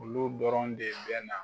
Olu dɔrɔn de bɛ na